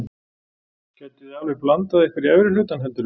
Gætuð þið alveg blandað ykkur í efri hlutann heldurðu?